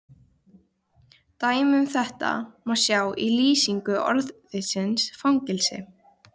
Dæmi um þetta má sjá í lýsingu orðsins fangelsi: